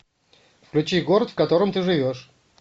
включи город в котором ты живешь